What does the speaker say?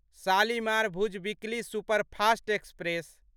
Shalimar Bhuj weekly superfast express